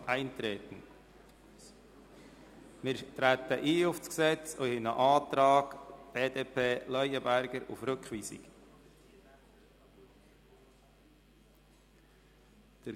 Wir treten auf das Gesetz ein und kommen zu einem Antrag BDP/Leuenberger auf Rückweisung.